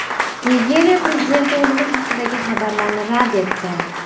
Nigeriya prezidenti o‘limi haqidagi xabarlarni rad etdi.